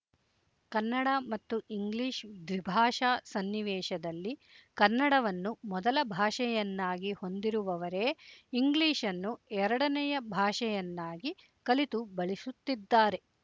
ಕನ್ನಡ ಮತ್ತು ಇಂಗ್ಲಿಶ್ ದ್ವಿಭಾಷಾ ಸನ್ನಿವೇಶದಲ್ಲಿ ಕನ್ನಡವನ್ನು ಮೊದಲ ಭಾಷೆಯನ್ನಾಗಿ ಹೊಂದಿರುವವರೇ ಇಂಗ್ಲಿಶ್‌ನ್ನು ಎರಡನೆಯ ಭಾಷೆಯನ್ನಾಗಿ ಕಲಿತು ಬಳಸುತ್ತಿದ್ದಾರೆ